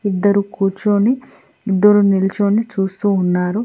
ఇద్దరు కూర్చొని ఇద్దరు నిలుచొని చూస్తూ ఉన్నారు.